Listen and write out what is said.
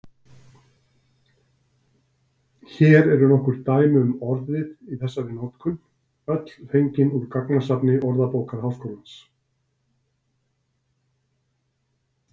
Hér eru nokkur dæmi um orðið í þessari notkun, öll fengin úr gagnasafni Orðabókar Háskólans.